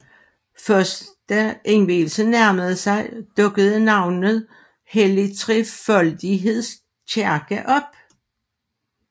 Først da indvielsen nærmede sig dukkede navnet Hellig Trefoldigheds kirke op